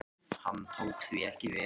Hann tók því ekki vel.